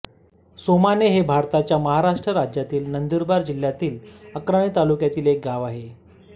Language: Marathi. सोमाणे हे भारताच्या महाराष्ट्र राज्यातील नंदुरबार जिल्ह्यातील अक्राणी तालुक्यातील एक गाव आहे